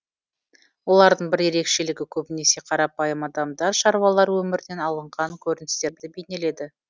олардың бір ерекшелігі көбінесе қарапайым адамдар шаруалар өмірінен алынған көріністерді бейнеледі